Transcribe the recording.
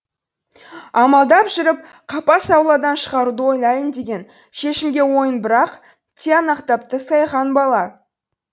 амалдап жүріп қапас ауладан шығаруды ойлайын деген шешімге ойын бір ақ тиянақтапты сайхан бала